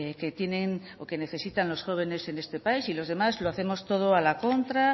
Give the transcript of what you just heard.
que tienen o que necesitan los jóvenes en este país y los demás lo hacemos todo a la contra